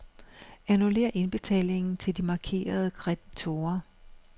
Annullér indbetalingen til de markerede kreditorer.